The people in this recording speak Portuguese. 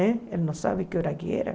Né ele não sabe que hora que era.